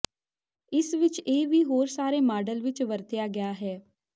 ਇਸ ਵਿਚ ਇਹ ਵੀ ਹੋਰ ਸਾਰੇ ਮਾਡਲ ਵਿੱਚ ਵਰਤਿਆ ਗਿਆ ਹੈ